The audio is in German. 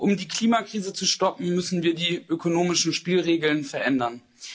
Um die Klimakrise zu stoppen, müssen wir die ökonomischen Spielregeln verändern.